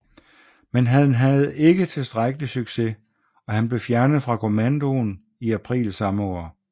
Men han havde ikke tilstrækkelig succes og han blev fjernet fra kommandoen i april samme år